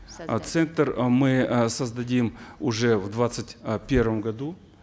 э центр мы э создадим уже в двадцать э первом году